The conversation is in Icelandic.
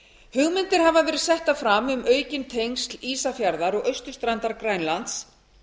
hugmyndir hafa verið settar fram um aukin tengsl ísafjarðar og austurstrandar grænlands